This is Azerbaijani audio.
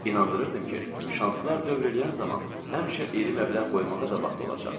İnandırırdım ki, şanslar dövr eləyən zaman həmişə iri məbləğ qoymağa da vaxt olacaq.